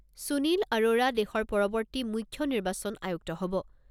সুনীল আৰোৰা দেশৰ পৰৱৰ্তী মুখ্য নিৰ্বাচন আয়ুক্ত হ'ব।